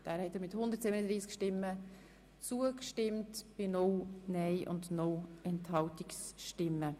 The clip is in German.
Der Grosse Rat hat der Abschreibung einstimmig zugestimmt.